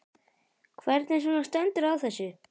Hvernig svona stendur á þessu?